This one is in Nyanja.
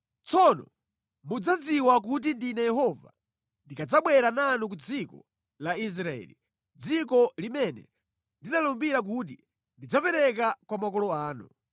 Tsono mudzadziwa kuti ndine Yehova ndikadzabwera nanu ku dziko la Israeli, dziko limene ndinalumbira kuti ndidzapereka kwa makolo anu.